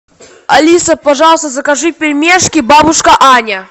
алиса пожалуйста закажи пельмешки бабушка аня